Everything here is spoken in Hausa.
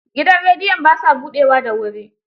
Gidan rediyon ba sa buɗewa da wuri.